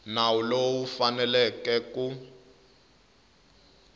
nawu lowu u fanele ku